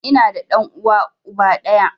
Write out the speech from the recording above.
Ina da ɗan uwa uba ɗaya